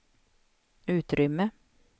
utrymme